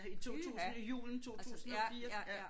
Pyha altså ja ja ja